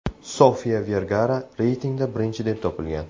Sofiya Vergara reytingda birinchi deb topilgan.